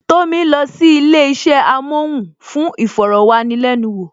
Tomi lọ sí ilé isẹ amohun fún iforowanilenuwo